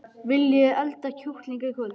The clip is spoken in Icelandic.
Viljiði elda kjúkling í kvöld?